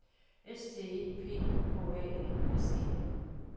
S T E P H A N S E N